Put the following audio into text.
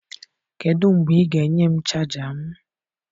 Kedụ mgbe ị ga-enye m chaja m?